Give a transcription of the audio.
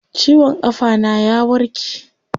Ciwon kafa na ya warke.